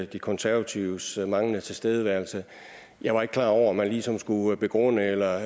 de konservatives manglende tilstedeværelse jeg var ikke klar over at man ligesom skulle begrunde eller